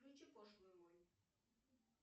включи пошлую молли